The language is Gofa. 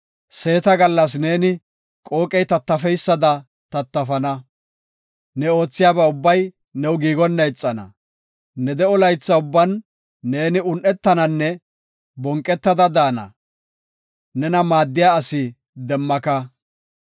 Seeta gallas neeni qooqey tattafeysada tattafana; ne oothiyaba ubbay new giigonna ixana. Ne de7o laytha ubban ne un7etananne bonqetada daana. Nena maaddiya asi demmaka.